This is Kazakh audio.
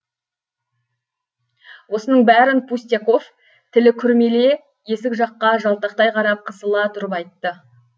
осының бәрін пустяков тілі күрмеле есік жаққа жалтақтай қарап қысыла тұрып айтты